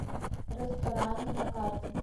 рэсторани на карте